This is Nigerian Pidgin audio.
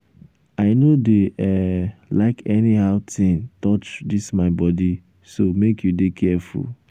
i no dey um like anyhow thing um touch um dis my body so make you dey careful.